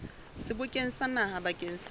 sebokeng sa naha bakeng sa